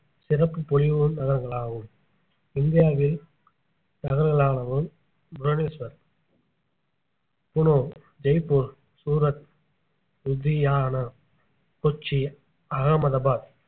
சிறப்பு பொலிவுறு நகரங்களாகும் இந்தியாவில் புவனேஸ்வர் புனோ ஜெய்ப்பூர் சூரத் லூதியானா கொச்சி அகமதாபாத்